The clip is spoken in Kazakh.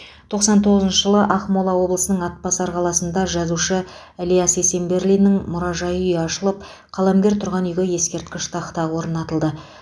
тоқсан тоғызыншы жылы ақмола облысының атбасар қаласында жазушы ілияс есенберлиннің мұражай үйі ашылып қаламгер тұрған үйге ескерткіш тақта орнатылды